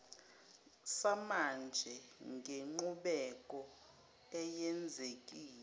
samanje ngenqubeko eyenzekile